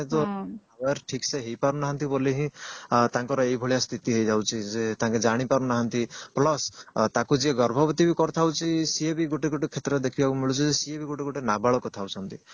birth ଠିକ ସେ ହେଇ ପାରୁନାହାନ୍ତି ବୋଲି ହିଁ ତାଙ୍କର ଏଇ ଭଳିଆ ସ୍ଥିତି ହେଇ ଯାଉଛି ଯେ ତାଙ୍କ ଜାଣି ପାରୁନାହାନ୍ତି plus ତାକୁ ଯିଏ ଗର୍ଭବତୀ ବି କରିଥାଉଛି ସେଇ ବି ଗୋଟେ ଗୋଟେ କ୍ଷେତ୍ରରେ ଦେଖିବାକୁ ମିଳୁଛି ଯେ ସିଏ ବି ଗୋଟେ ଗୋଟେ ନାବାଳକ ଥାଉଛନ୍ତି